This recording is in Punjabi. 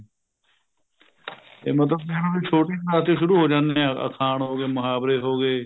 ਇਹ ਮਤਲਬ ਕਹਿਣਾ ਵੀ ਛੋਟੀ ਕਲਾਸ ਤੇ ਸ਼ੁਰੂ ਹੋ ਜਾਂਦੇ ਹੈ ਅਖਾਣ ਹੋ ਗਏ ਮੁਹਾਵਰੇ ਹੋ ਗਏ